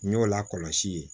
N y'o lakɔlɔsi